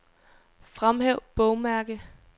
Fremhæv bogmærke.